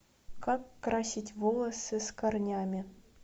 как красить волосы с корнями